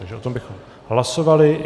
Takže o tom bychom hlasovali.